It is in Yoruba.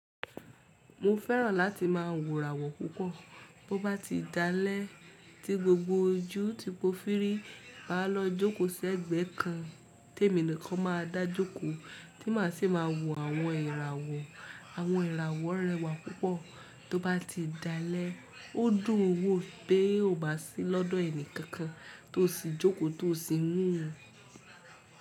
Mo fẹ́ràn láti máa wò ràwò púpọ̀ bó bá ti dá lẹ́ tí gbogbo ojú ti pó firi máa lọ jókòó sí ẹ̀gbẹ́ kan témi nìkan máa dá jókòó tí màá sì máa wo àwọn ìràwọ̀. Àwọn ìràwọ̀ rẹwà púpọ̀ tó bá ti dá lẹ́ ó dùn wó pé ó bá sí lọ́dọ̀ ẹni kankan tó sì jókòó tó sì.